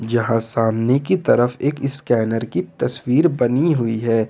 यहां सामने की तरफ एक स्कैनर की तस्वीर बनी हुई है।